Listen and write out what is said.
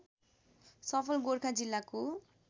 सफल गोरखा जिल्लाको